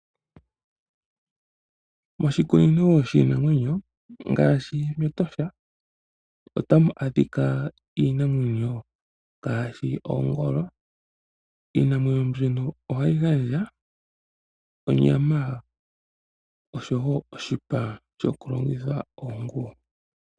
Moshikunino shiinamwenyo ngaashi mEtosha otamu adhika iinamwenyo ngaashi oongolo. Iinamwenyo mbyono ohayi gandja onyama osho wo oshipa shokulongitha oonguwo.